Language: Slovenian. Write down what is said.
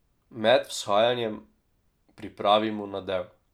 Med vzhajanjem pripravimo nadev.